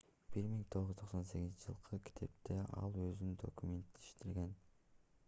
1998-жылкы китепте ал өзүн документтештирген